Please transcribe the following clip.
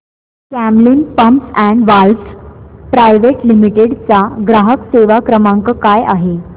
Camlin pumps and valves private limited चा ग्राहक सेवा क्रमांक काय आहे